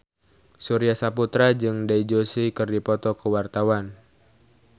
Surya Saputra jeung Dev Joshi keur dipoto ku wartawan